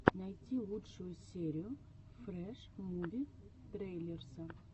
найти лучшую серию фрэш муви трейлерса